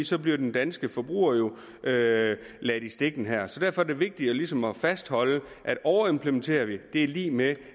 så bliver den danske forbruger jo ladt ladt i stikken her derfor er det vigtigt ligesom at fastholde at overimplementerer vi er det lig med